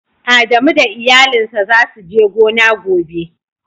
Adamu da iyalin sa za su je gona gobe.